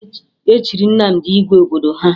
E chiri Nnamdị igwe obodo ha